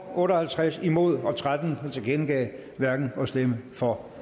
otte og halvtreds stemmer imod og tretten tilkendegav hverken at stemme for